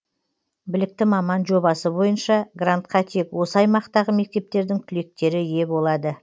білікті маман жобасы бойынша грантка тек осы аймақтағы мектептердің түлектері ие болады